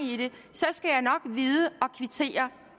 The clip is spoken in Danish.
sker nok vide at kvittere